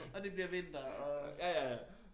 Og det bliver vinter og